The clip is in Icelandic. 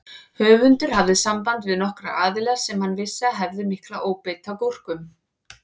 Höfundur hafði samband við nokkra aðila sem hann vissi að hefðu mikla óbeit á gúrkum.